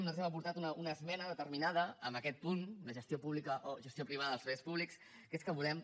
nosaltres hem aportat una esmena determinada en aquest punt de gestió pública o gestió privada als serveis públics que és que volem